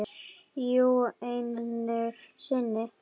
Jú, einu sinni.